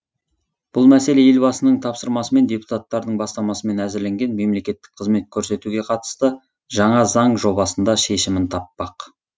бұл мәселе елбасының тапсырмасымен депутаттардың бастамасымен әзірленген мемлекеттік қызмет көрсетуге қатысты жаңа заң жобасында шешімін таппақ